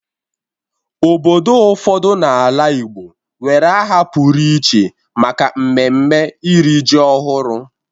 Obodo ụfọdụ n'ala Igbo nwere aha pụrụ iche maka mmemme iri ji ọhụrụ.